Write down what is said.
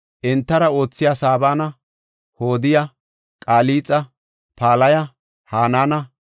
entara oothiya Sabana, Hodiya, Qalixa, Palaya, Hanaana,